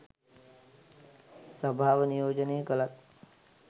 සභාව නියෝජනය කළත්